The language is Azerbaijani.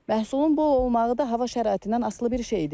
Məhsulun bol olmağı da hava şəraitindən asılı bir şeydir.